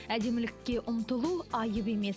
әдемілікке ұмтылу айып емес